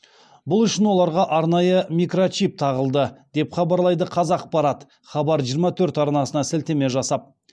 бұл үшін оларға арнайы микрочип тағылды деп хабарлайды қазақпарат хабар жиырма төрт арнасына сілтеме жасап